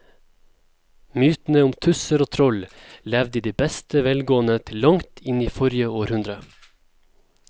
Mytene om tusser og troll levde i beste velgående til langt inn i forrige århundre.